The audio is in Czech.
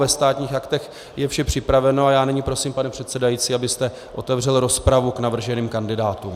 Ve Státních aktech je vše připraveno a já nyní prosím, pane předsedající, abyste otevřel rozpravu k navrženým kandidátům.